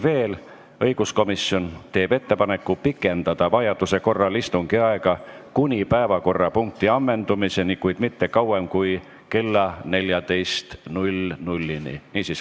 Veel, õiguskomisjon teeb ettepaneku pikendada vajaduse korral istungi aega kuni päevakorrapunkti ammendumiseni, kuid mitte kauem kui kella 14-ni.